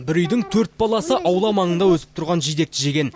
бір үйдің төрт баласы аула маңында өсіп тұрған жидекті жеген